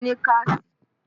Ṣé o ní káàṣì?